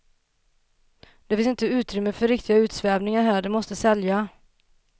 Det finns inte utrymme för riktiga utsvävningar här, det måste sälja.